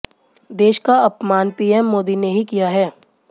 देश का अपमान पीएम मोदी ने ही किया है